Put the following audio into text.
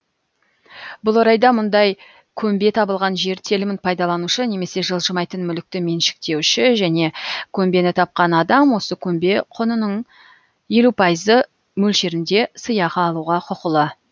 бұл орайда мұндай көмбе табылған жер телімін пайдаланушы немесе жылжымайтын мүлікті меншіктенуші және көмбені тапқан адам осы көмбе құнының елу пайызы мөлшерінде сыйақы алуға құқылы